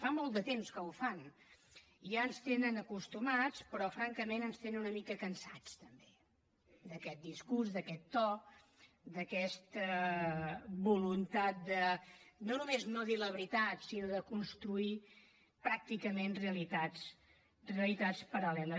fa molt de temps que ho fan i ja ens hi tenen acostumats però francament ens tenen una mica cansats també d’aquest discurs d’aquest to d’aquesta voluntat de no només no dir la veritat sinó de construir pràcticament realitats paral·leles